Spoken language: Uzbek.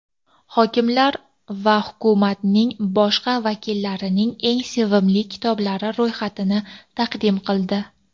hokimlar va hukumatning boshqa vakillarining eng sevimli kitoblari ro‘yxatini taqdim qildi.